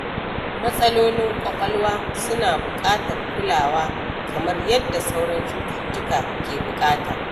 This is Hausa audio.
Matsalolin ƙwaƙwalwa suna buƙatar kulawa kamar yadda sauran cututtuka ke buƙata.